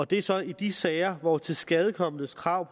det er så i de sager hvor tilskadekomnes krav